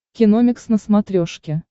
киномикс на смотрешке